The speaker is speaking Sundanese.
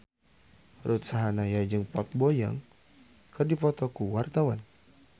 Ruth Sahanaya jeung Park Bo Yung keur dipoto ku wartawan